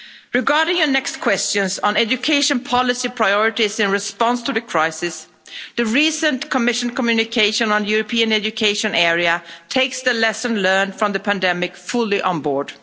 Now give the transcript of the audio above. Regarding your next questions on education policy priorities in response to the crisis, the recent Commission communication on the European Education Area takes the lesson learned from the pandemic fully on board.